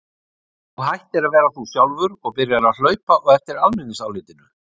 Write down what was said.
Þú hættir að vera þú sjálfur og byrjar að hlaupa á eftir almenningsálitinu.